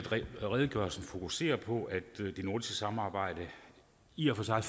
redegørelsen fokuserer på at det nordiske samarbejde i og for sig